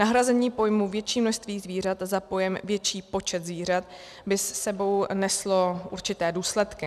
Nahrazení pojmu "větší množství zvířat" za pojem "větší počet zvířat" by s sebou neslo určité důsledky.